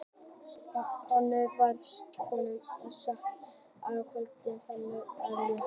Góndi á svartklædda konu sem sat með kvöldmatinn í fanginu, sprelllifandi hænu.